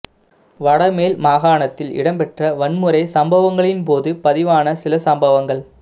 வடமேல் மகாணத்தில் இடம்பெற்ற வன்முறை சம்பவங்களின் போது பதிவான சில சம்பவங்கள்